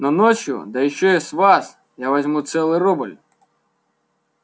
но ночью да ещё и с вас я возьму целый рубль